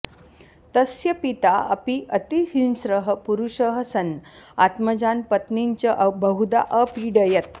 तस्य पिता अपि अतिहिंस्रः पुरुषः सन् आत्मजान् पत्नीं च बहुधा अपीडयत्